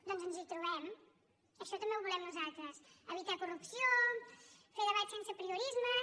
doncs ens hi trobem això també ho volem nosaltres evitar corrupció fer debats sense apriorismes